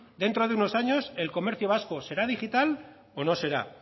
dentro de unos años el comercio vasco será digital o no será